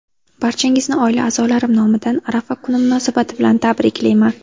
Barchangizni oila a’zolarim nomidan Arafa kuni munosabati bilan tabriklayman!